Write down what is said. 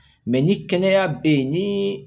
Mɛ ni kɛnɛya bɛ yen ni